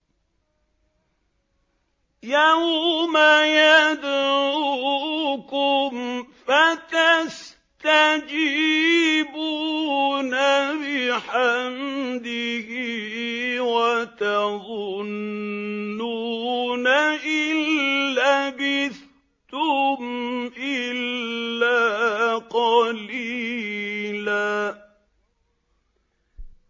يَوْمَ يَدْعُوكُمْ فَتَسْتَجِيبُونَ بِحَمْدِهِ وَتَظُنُّونَ إِن لَّبِثْتُمْ إِلَّا قَلِيلًا